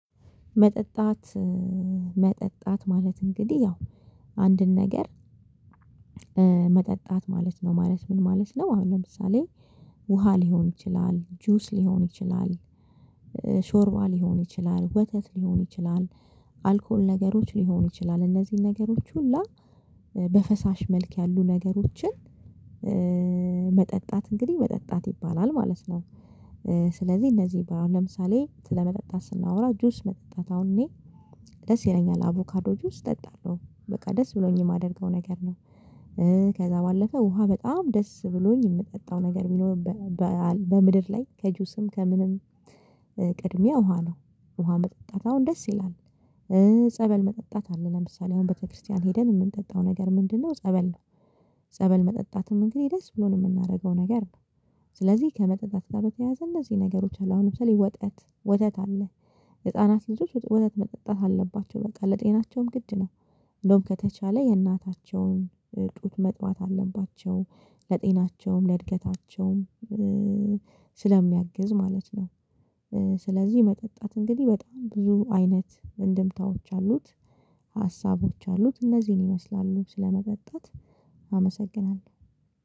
መጠጣት መጠጣት ማለት እንግዲህ ያው አንድን ነገር መጠጣት ማለት ነው ማለት ምን ማለት ነው? አሁን ለምሳሌ ውሃ ሊሆን ይችላል ጁስ ሊሆን ይችላል። ሾርባ ሊሆን ይችላል ወተት ሊሆን ይችላል አልኮል ነገሮች ሊሆኑ ይችላል እነዚህን ነገሮች ሁላ በፈሳሽ መልክ ያሉ ነገሮችን መጠጣት እንግዲህ መጠጣት ይባላል ማለት ነው። ስለዚህ እነዚህ ለምሳሌ ስለመጠጣት ስናወራ ጁስ መጠጣት አሁን እኔ ደስ ይለኛል አቮካዶ ጁስ እጠጣለሁ በቃ ደስ ብሎኝ የማደርገው ነገር ነው። ከዛ ባለፈ ውሃ በጣም ደስ ብሎኝ የምጠጣው ነገር ቢኖር። በምድር ላይ ከጁስም ከምንም ቅድሚያ ውሃ ነው። ውሃ መጠጣት አሁን ደስ ይላል። ጸበል መጠጣት አለ ለምሳሌ አሁን ቤተክርስቲያን ሄደን የምንጠጣው ነገር ምንድነው? ጸበል ነው። ጸበል መጠጣትም እንግዲህ ደስ ብሎን የምናደርገው ነገር ነው። ስለዚህ ከመጠጣት ጋር በተያየዘ እነዚህ ነገሮች አሉ አሁን ለምሳሌ ወተት ወተት አለ። ህፃናት ልጆች ወተት መጠጣት አለባቸው በቃ ለጤናቸውም ግድ ነው። እንደውም ከተቻለ የእናታቸውን ጡት መጥባት አለባቸው። ለጤናቸውም ለእድገታቸውም ስለሚያግዝ ማለት ነው። ስለዚህ መጠጣት እንግዲህ በጣም ብዙ አይነት እንደምታዎች አሉት። ሀሳቦች አሉት እነዚህን ይመስላሉ ስለመጠጣት አመሰግናለሁ